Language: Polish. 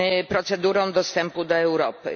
procedurą dostępu do Europy.